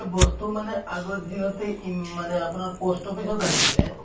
বস্তু মানে আগত যিহতে ইম মানে আপোনাৰ post office ত আহিছিলে